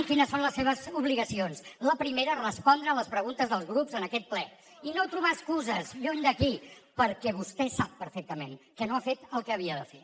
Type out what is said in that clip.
quines són les seves obligacions la primera respondre les preguntes dels grups en aquest ple i no trobar excuses lluny d’aquí perquè vostè sap perfectament que no ha fet el que havia de fer